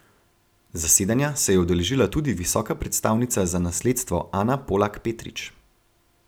Zasedanja se je udeležila tudi visoka predstavnica za nasledstvo Ana Polak Petrič.